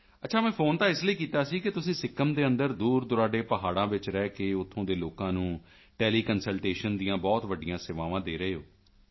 ਅੱਛਾ ਮੈਂ ਫੋਨ ਤਾਂ ਇਸ ਲਈ ਕੀਤਾ ਕਿ ਤੁਸੀਂ ਸਿੱਕਿਮ ਦੇ ਅੰਦਰ ਦੂਰਦੁਰਾਡੇ ਪਹਾੜਾਂ ਵਿੱਚ ਰਹਿ ਕੇ ਉੱਥੋਂ ਦੇ ਲੋਕਾਂ ਨੂੰ ਟੈਲੀਕੰਸਲਟੇਸ਼ਨ ਦੀਆਂ ਬਹੁਤ ਵੱਡੀਆਂ ਸੇਵਾਵਾਂ ਦੇ ਰਹੇ ਹੋ